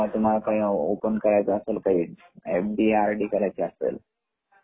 जेव्हा तुम्हाला काही ओपेन करायच असेल एफ.डी.आर. डी. करायची असेल एफ.डी. म्हणजे काय ?